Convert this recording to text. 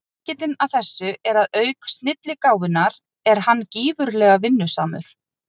Lykillinn að þessu er að auk snilligáfunnar er hann gífurlega vinnusamur.